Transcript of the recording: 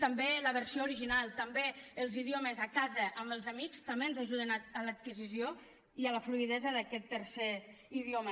també la versió original també els idiomes a casa amb els amics també ens ajuden a l’adquisició i la fluïdesa d’aquest tercer idioma